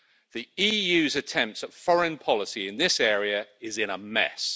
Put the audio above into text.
The EU's attempts at foreign policy in this area are in a mess.